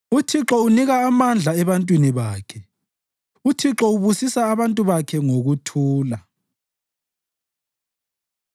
UThixo unika amandla ebantwini bakhe; uThixo ubusisa abantu bakhe ngokuthula.